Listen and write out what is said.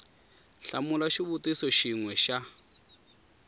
hlamula xivutiso xin we xa